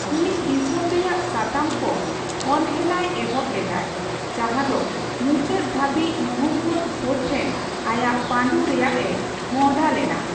ᱩᱱᱤ ᱫᱤᱥᱚᱢ ᱨᱮᱭᱟᱜ ᱥᱟᱛᱟᱢ ᱠᱚ ᱚᱱᱦᱮᱞᱟᱭ ᱮᱦᱚᱵ ᱞᱮᱫᱟᱭ ᱾ ᱡᱟᱸᱦᱟ ᱫᱚ ᱢᱩᱪᱟᱹᱫ ᱫᱷᱟᱹᱵᱤᱡ ᱢᱩᱦᱚᱢᱢᱫᱚ ᱜᱷᱳᱨ ᱴᱷᱮᱱ ᱟᱭᱟᱜ ᱯᱟᱸᱰᱩ ᱨᱮᱭᱟᱜ ᱮ ᱢᱚᱦᱚᱰᱟ ᱞᱮᱱᱟ ᱾